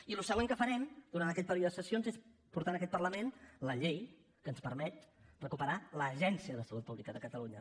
i el següent que farem durant aquest període de sessions és portar en aquest parlament la llei que ens permet recuperar l’agència de salut pública de catalunya